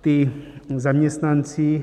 Ti zaměstnanci